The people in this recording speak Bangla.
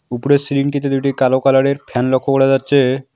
উপরের সিলিংটিতে দুইটি কালো কালারের ফ্যান লক্ষ করা যাচ্ছে-এ।